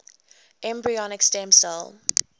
embryonic stem cell